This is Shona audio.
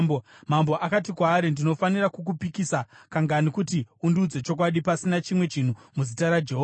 Mambo akati kwaari, “Ndinofanira kukupikisa kangani kuti undiudze chokwadi pasina chimwe chinhu muzita raJehovha?”